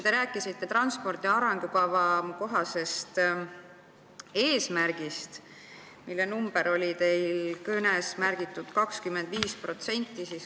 Te rääkisite transpordi arengukava kohasest eesmärgist ja märkisite oma kõnes 25%.